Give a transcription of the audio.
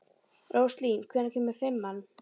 Róslín, hvenær kemur fimman?